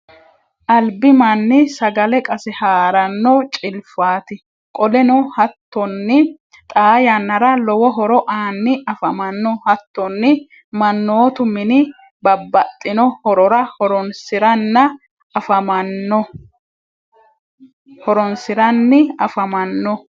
albi manni sagale qase haaranno cilfaati. qoleno hattonni xaa yannara lowo horo aanni afamanno. hattonni mannootu mini babbaxxinno horora horonsiranni afammanno.